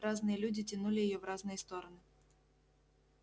разные люди тянули её в разные стороны